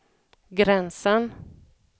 gränsen